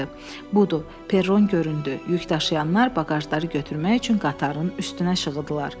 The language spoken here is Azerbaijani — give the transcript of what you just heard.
Budur, perron göründü, yük daşıyanlar baqajları götürmək üçün qatarın üstünə şığıdılar.